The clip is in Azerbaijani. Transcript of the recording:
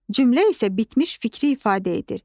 Cümlə isə bitmiş fikri ifadə edir.